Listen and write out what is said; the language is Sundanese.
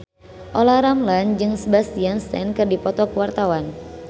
Olla Ramlan jeung Sebastian Stan keur dipoto ku wartawan